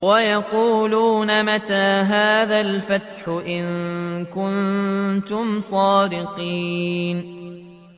وَيَقُولُونَ مَتَىٰ هَٰذَا الْفَتْحُ إِن كُنتُمْ صَادِقِينَ